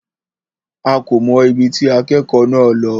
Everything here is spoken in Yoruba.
A kò mọ̀ ibi tí akẹ́kọ̀ọ́ náà lọ.